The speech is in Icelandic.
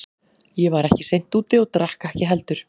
Ég var ekki seint úti og drakk ekki heldur.